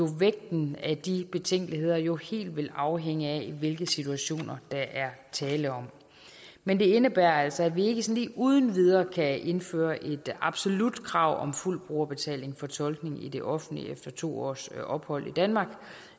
vægten af de betænkeligheder jo helt vil afhænge af hvilke situationer der er tale om men det indebærer altså at vi ikke sådan uden videre kan indføre et absolut krav om fuld brugerbetaling for tolkning i det offentlige efter to års ophold i danmark